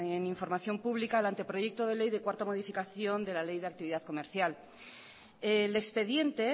en información pública el anteproyecto de ley de cuarta modificación de la ley de actividad comercial el expediente